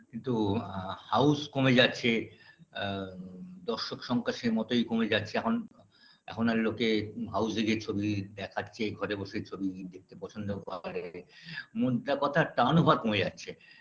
কিন্তু আ house কমে যাচ্ছে আ দর্শক সংখ্যা সে মতই কমে যাচ্ছে এখন এখন আর লোকে house -এ গিয়ে ছবি দেখার চেয়ে ঘরে বসে ছবি দেখতে পছন্দ করে মোদ্দা কথা turnover কমে যাচ্ছে